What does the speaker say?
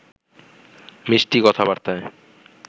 মিষ্টি কথাবার্তায়